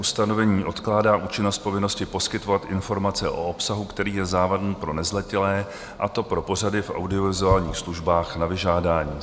Ustanovení odkládá účinnost povinnosti poskytovat informace o obsahu, který je závadný pro nezletilé, a to pro pořady v audiovizuálních službách na vyžádání.